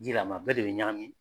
Di la mɛ a bɛɛ de bɛ ɲagami